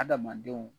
Adamadenw